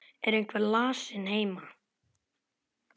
Er einhver lasinn heima?